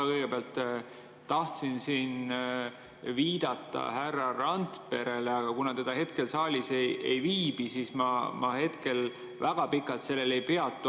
Ma kõigepealt tahtsin viidata härra Randperele, aga kuna ta hetkel saalis ei viibi, siis ma väga pikalt sellel ei peatu.